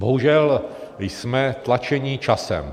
Bohužel jsme tlačeni časem.